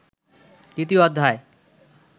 দ্বিতীয় অধ্যায়